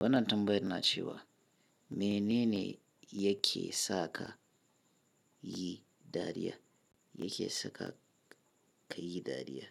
Wannantambayar na cewa menene yake sa ka yi dariya, yake saka ka yi dariya.